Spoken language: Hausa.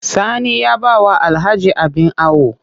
Sani ya ba wa Alhaji abin awo